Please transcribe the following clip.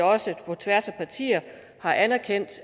også på tværs af partier har anerkendt